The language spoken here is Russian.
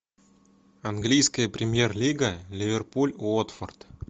английская премьер лига ливерпуль уотфорд